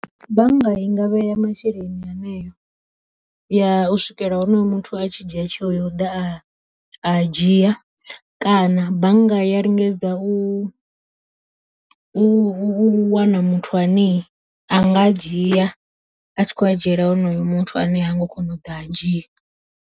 Bannga i ngavheya masheleni haneyo ya u swikela honoyo muthu a tshi dzhia tsheo ya u ḓa a a dzhia, kana bannga ya lingedza u u wana muthu ane a nga a dzhia a tshi khou a dzhiela honoyo muthu ane hango kona u ḓa a dzhia.